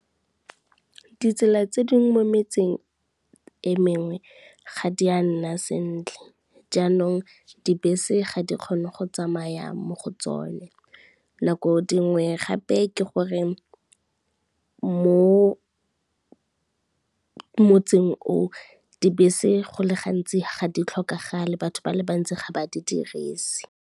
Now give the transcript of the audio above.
Ditsela tse dingwe mo metseng e mengwe ga di a nna sentle, jaanong dibese ga di kgone go tsamaya mo go tsone. Nako dingwe gape ke gore mo motseng o, dibese go le gantsi ga di tlhokagale batho ba le bantsi ga ba di dirise.